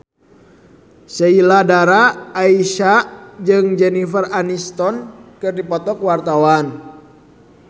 Sheila Dara Aisha jeung Jennifer Aniston keur dipoto ku wartawan